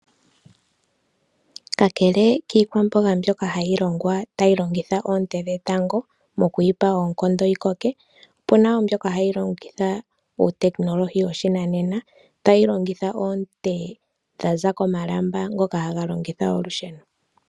Kakele kiikwamboga mbyoka hayi longwa tayi longitha oonte dhetango mokuyipa oonkondo yi koke, opena wo mbyoka hayi longitha uutekinolohi woshinanena, tayi longitha oonte dha za komalamba ngoka haga longitha olusheno.